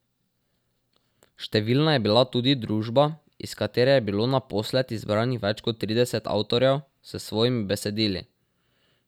Številna je bila tudi družba, iz katere je bilo naposled izbranih več kot trideset avtorjev s svojimi besedili.